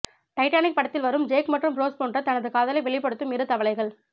Titanic படத்தில் வரும் Jack மற்றும் ரோஸ் போன்று தன் காதலை வெளிப்படுத்தும் இரு தவளைகள்